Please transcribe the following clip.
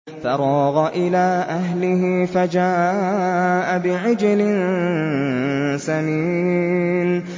فَرَاغَ إِلَىٰ أَهْلِهِ فَجَاءَ بِعِجْلٍ سَمِينٍ